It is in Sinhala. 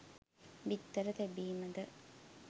බිත්තර තැබීම ද